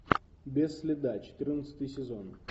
без следа четырнадцатый сезон